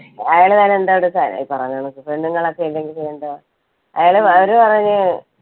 ഈ പറഞ്ഞ കണക്ക് പെണ്ണുങ്ങൾ ഒക്കെ ഇല്ലെങ്കിൽ പിന്നെ എന്താ. അയാൾ അവര് പറഞ്ഞു,